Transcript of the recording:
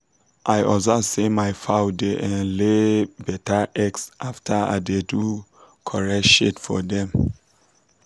i observe say my fowl da um lay um better egg after i do correct shade for dem